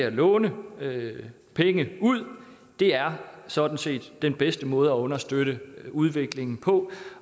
at låne penge ud er sådan set den bedste måde at understøtte udviklingen på